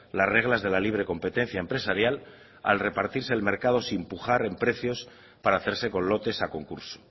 las reglas de la libre competencia empresarial al repartirse el mercado sin pujar precios para hacerse con lotes a concurso